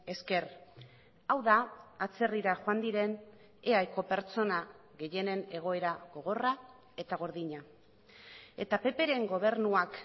esker hau da atzerrira joan diren eaeko pertsona gehienen egoera gogorra eta gordina eta pp ren gobernuak